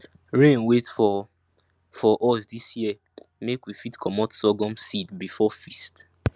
rain wait for for us dis year make we fit comot sorghum seed before feast